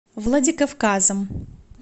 владикавказом